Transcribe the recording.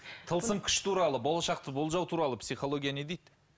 тылсым күш туралы болашақты болжау туралы психология не дейді